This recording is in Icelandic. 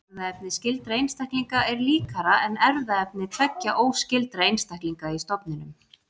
Erfðaefni skyldra einstaklinga er líkara en erfðaefni tveggja óskyldra einstaklinga í stofninum.